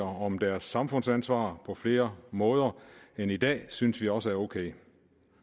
om deres samfundsansvar på flere måder end i dag synes vi også er okay